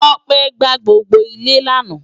Tope gbàá gbógbó ilè làná